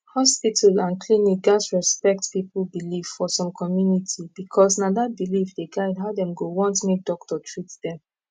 hospital and clinic gats respect people belief for some community because na that belief dey guide how dem go want make doctor treat dem